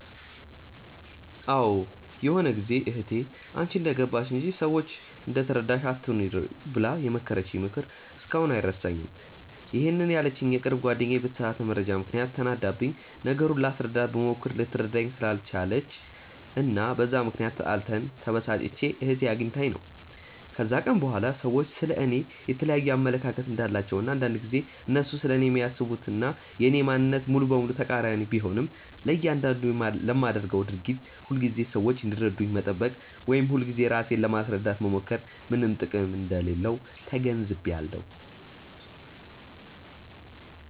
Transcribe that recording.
አዎ ይሆነ ጊዜ እህቴ "አንቺ እንደገባሽ እንጂ፤ ሰዎች እንደተረዳሽ አትኑሪ" ብላ የመከረችኝ ምክር እስካሁን አይረሳኝም፤ ይሄንን ያለችኝ የቅርብ ጓደኛዬ በተሳሳተ መረጃ ምክንያት ተናዳብኝ፤ ነገሩን ላስረዳት ብሞክር ልትረዳኝ ስላልቻለች እና በዛ ምክንያት ተጣልተን፤ ተበሳጭቼ እህቴ አግኝታኝ ነው። ከዛን ቀን በኋላ ሰዎች ስለ እኔ የየተለያየ አመለካከት እንዳላቸው እና አንዳንድ ጊዜ እነሱ ስለኔ የሚያስቡት እና የኔ ማንነት ሙሉ በሙሉ ተቃሪኒ ቢሆንም፤ ለያንዳንዱ ለማደርገው ድርጊት ሁልጊዜ ሰዎች እንዲረዱኝ መጠበቅ ወይም ሁልጊዜ ራሴን ለማስረዳት መሞከር ምንም ጥቅም እንደሌለው ተገንዝቢያለው።